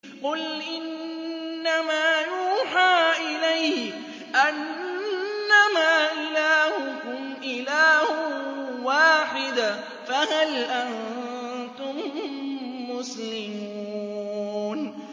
قُلْ إِنَّمَا يُوحَىٰ إِلَيَّ أَنَّمَا إِلَٰهُكُمْ إِلَٰهٌ وَاحِدٌ ۖ فَهَلْ أَنتُم مُّسْلِمُونَ